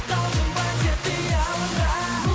қалдың ба тек қиялымда